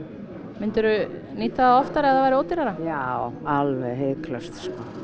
myndir þú nýta það oftar ef það væri ódýrara já alveg hiklaust